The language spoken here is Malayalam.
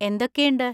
എന്തൊക്കെയുണ്ട്?